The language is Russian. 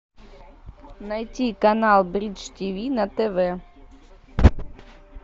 найти канал бридж тв на тв